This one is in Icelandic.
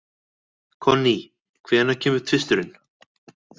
Konný, hvenær kemur tvisturinn?